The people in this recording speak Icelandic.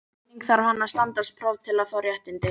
Einnig þarf hann að standast próf til að fá réttindin.